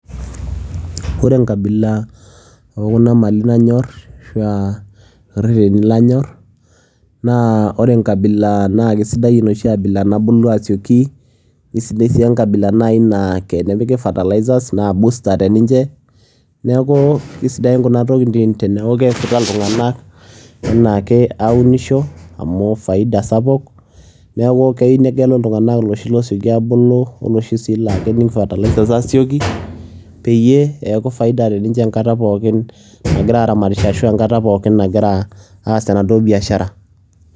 ore enkabila ookuna mali nanyor ashu aa oo reteni lanyor, naa ore enkabila naa kisiai enoshi abila nabulu asioki, nisidai sii enkabila naa tenepiki fertilizers naa booster naji teninche, neeku kisidain kuna tokitin teneeku keesita iltunganak anaake aunisho. amu faia sapuk, neeku keyieu negelu iltunganak iloshi loosioki abulu oloshi sii laa kening fertilizers aitobiraki peyie eeku faida te ninche enkata pookin nagira aramatisho ashu enkata pokin nagira aas enaduoo biashara.